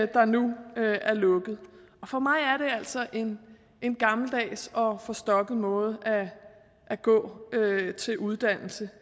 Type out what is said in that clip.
der nu er lukket for mig er det altså en en gammeldags og forstokket måde at gå til uddannelse